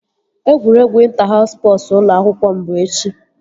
Egwuregwu ịnta haus spọsu ụlọ akwụkwọ m bụ echi